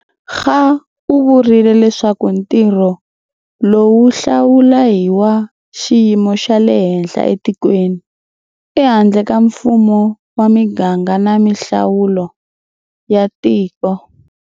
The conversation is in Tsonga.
Kga u vurile leswaku ntirho lowu wo hlawula i wa xiyimo xa le henhla etikweni, ehandle ka Mfumo wa miganga na mihlawulo ya tiko.